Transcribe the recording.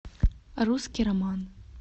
русский роман